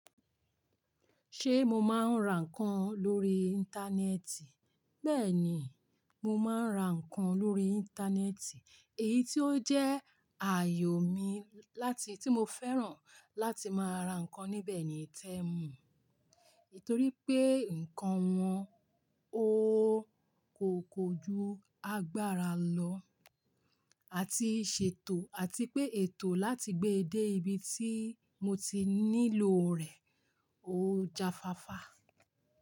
Ṣé mo máa ń ra nǹkan lórí Íńtánẹ́ẹ̀tì? Bẹ́ẹ̀ni, mo máa ń ra nǹkan lórí Íńtánẹ́ẹ̀tì, èyí tó jẹ́ ààyò mi láti tí mo fẹ́ràn láti máa ra nǹkan níbẹ̀ ni tẹ́muù, nítorí pé nǹkan wọn ó kòkò ju agbára lọ, àti ṣètò àti pé ètò láti gbé dé ibi tí mo ti nílò rẹ̀ ó jafáfá.